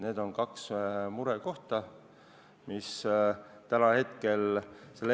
Need on kaks murekohta, mis täna selle eelnõu juures on.